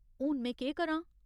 हून में केह् करां?